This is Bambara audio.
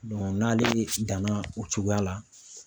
n'ale danna o cogoya la